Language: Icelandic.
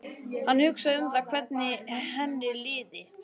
Hann hugsaði um það hvernig henni liði.